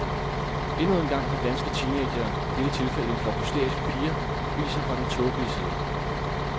Endnu en gang har danske teenagere, i dette tilfælde en flok hysteriske piger, vist sig fra den tåbelige side.